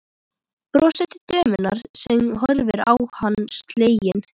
Brosir til dömunnar sem horfir á hann slegin.